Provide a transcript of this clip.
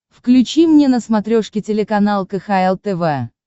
включи мне на смотрешке телеканал кхл тв